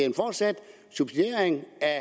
en fortsat subsidiering af